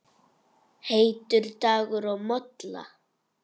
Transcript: Heitur dagur og molla.